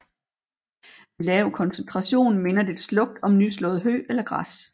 Ved lav koncentration minder dets lugt om nyslået hø eller græs